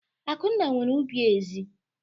Akunna nwere ubi ezị́.